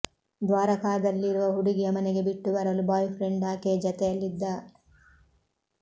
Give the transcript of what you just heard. ದ್ವಾರಕಾದಲ್ಲಿರುವ ಹುಡುಗಿಯ ಮನೆಗೆ ಬಿಟ್ಟು ಬರಲು ಬಾಯ್ ಫ್ರೆಂಡ್ ಆಕೆಯ ಜತೆಯಲ್ಲಿದ್ದ